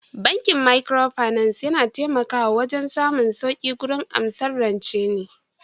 Bankin Microfinance yana taimakawa wajen samun sauƙi gurin amsar rancen ne